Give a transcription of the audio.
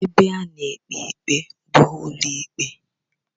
Ebe a na-ekpe ikpe bụ n'ụlọikpe